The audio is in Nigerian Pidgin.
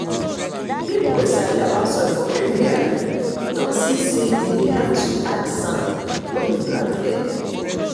people wey sabi about soil for area don see say e dey help to add sand when you plant early.